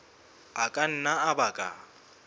a ka nna a baka